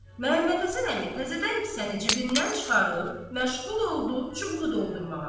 Məhəmmədhəsən əmi təzədən kisəni cibindən çıxarıb, məşğul oldu çubuğu doldurmağa.